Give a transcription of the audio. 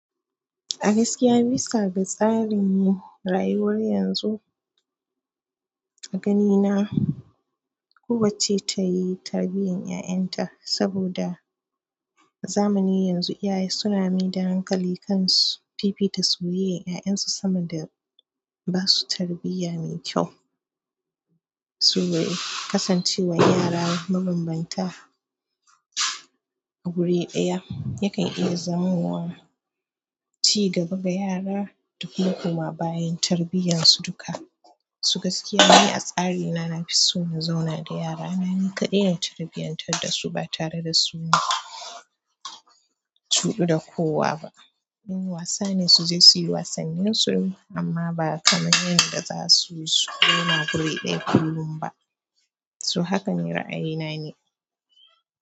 Gaskiya bisa ga tsarin rayuwar yanzu, a ganina, kowacce ta yi tarbiyan 'ya'yan ta. Saboda zamani yanzu, iyaye suna mai da hankali kan fifita suyoyya ya'yan su, sama da ba su tarbiyya mai kyau. Kasancewar yara mabambanta a guri ɗaya, yakan iya zamowa ci gaba ga yara, duk makoma bayan tarbiyan su duka. Gaskiya, ni a tsarina nafi so na zauna da yara. Na yi kaɗai na tarbiyan tar da su, ba tare da suyi tuɗu da kowa ba. In wasa ne su je su yi wasannin su amma ba kaman yadda za su zauna a wuri ɗaya kullum ba so haka ne ra'ayina ne.